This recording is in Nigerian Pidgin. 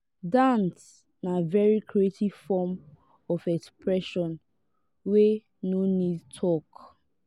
dance na very creative form of expression wey no need talk